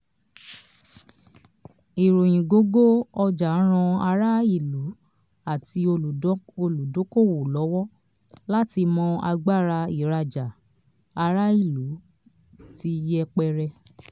ìròyìn gógó ọjà ran ará ìlú àti olùdókòwò lọ́wọ́ láti mọ agbára ìrajà ará ìlú tí yẹpẹrẹ.